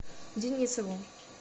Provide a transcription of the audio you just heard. денисову